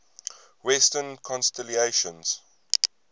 western constellations